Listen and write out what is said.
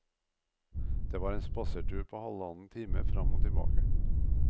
Det var en spasertur på halvannen time fram og tilbake.